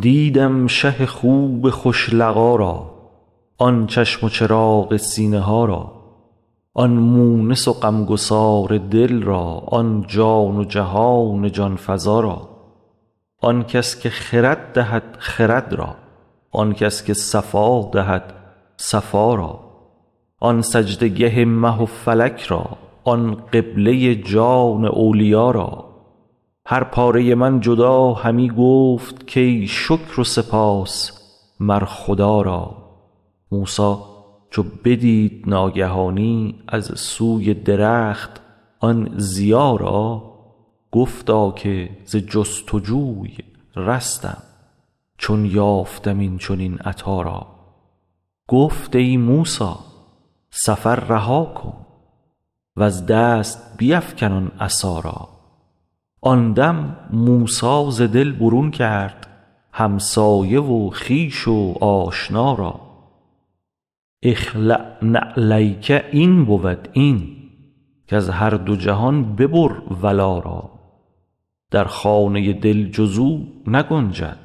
دیدم شه خوب خوش لقا را آن چشم و چراغ سینه ها را آن مونس و غمگسار دل را آن جان و جهان جان فزا را آن کس که خرد دهد خرد را آن کس که صفا دهد صفا را آن سجده گه مه و فلک را آن قبله جان اولیا را هر پاره من جدا همی گفت کای شکر و سپاس مر خدا را موسی چو بدید ناگهانی از سوی درخت آن ضیا را گفتا که ز جست و جوی رستم چون یافتم این چنین عطا را گفت ای موسی سفر رها کن وز دست بیفکن آن عصا را آن دم موسی ز دل برون کرد همسایه و خویش و آشنا را اخلع نعلیک این بود این کز هر دو جهان ببر ولا را در خانه دل جز او نگنجد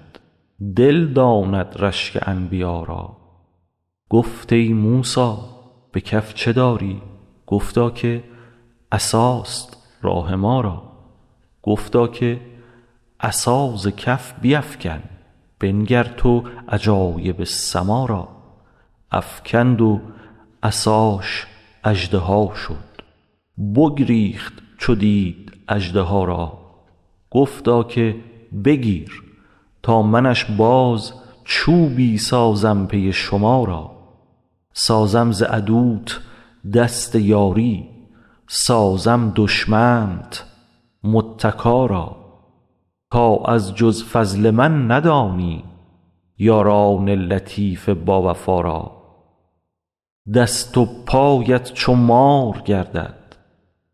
دل داند رشک انبیا را گفت ای موسی به کف چه داری گفتا که عصاست راه ما را گفتا که عصا ز کف بیفکن بنگر تو عجایب سما را افکند و عصاش اژدها شد بگریخت چو دید اژدها را گفتا که بگیر تا منش باز چوبی سازم پی شما را سازم ز عدوت دست یاری سازم دشمنت متکا را تا از جز فضل من ندانی یاران لطیف باوفا را دست و پایت چو مار گردد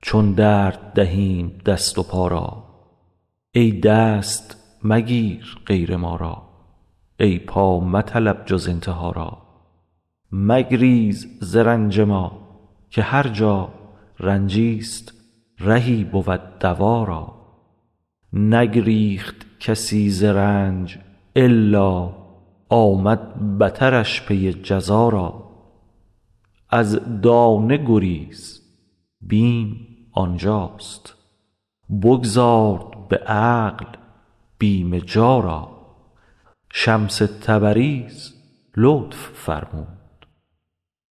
چون درد دهیم دست و پا را ای دست مگیر غیر ما را ای پا مطلب جز انتها را مگریز ز رنج ما که هر جا رنجیست رهی بود دوا را نگریخت کسی ز رنج الا آمد بترش پی جزا را از دانه گریز بیم آن جاست بگذار به عقل بیم جا را شمس تبریز لطف فرمود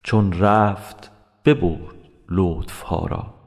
چون رفت ببرد لطف ها را